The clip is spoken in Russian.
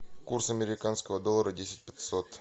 курс американского доллара десять пятьсот